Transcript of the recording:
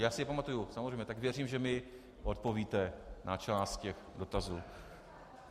Já si je pamatuju, samozřejmě, tak věřím, že mi odpovíte na část těch dotazů.